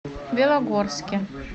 белогорске